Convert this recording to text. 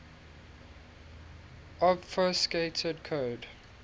obfuscated code